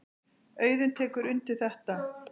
Auðunn tekur undir þetta.